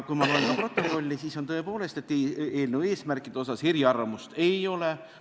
Kui ma loen protokolli, siis näen tõepoolest, et eelnõu eesmärkide asjus eriarvamusi ei ole.